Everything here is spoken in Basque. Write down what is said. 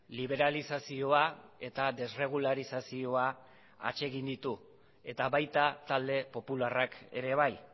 liberalizazioa eta desregularizazioa atsegin ditu eta baita talde popularrak ere bai